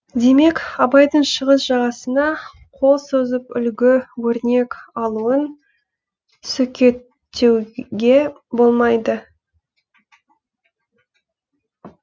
демек абайдың шығыс жағасына қол созып үлгі өрнек алуын сөкеттеуге болмайды